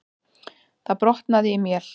Það brotnaði í mél.